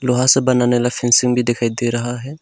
लोहा से बनाने वाला फेंसिंग भी दिखाई दे रहा है।